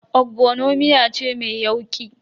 Ogbono miya ce mai yauƙi.